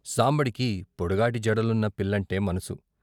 సాంబడికి పొడుగాటి జడలున్న పిల్లంటే మనసు.